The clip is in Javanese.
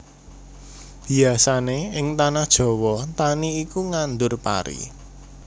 Biyasané ing tanah Jawa tani iku nandhur pari